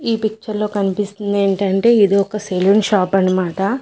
ఈ పిక్చర్ లో కనిపిస్తుంది ఏంటంటే ఇది ఒక సెల్లున్ షాప్ అన మాట.